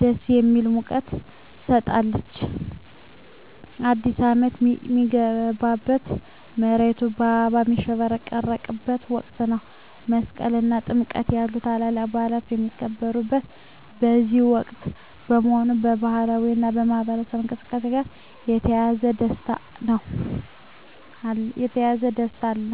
ደስ የሚል ሙቀት ትሰጣለች። አዲስ አመት ሚገባበት፣ መሬቱ በአበባ ሚሸፈንበት ወቅት ነው። መስቀል እና ጥምቀት ያሉ ታላላቅ በዓላት የሚከበሩት በዚህ ወቅት በመሆኑ፣ ከባህላዊ እና ማኅበራዊ እንቅስቃሴዎች ጋር የተያያዘ ደስታ አለ።